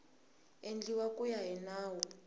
endliwa ku ya hi nawu